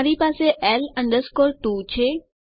મારી પાસે L 2 છે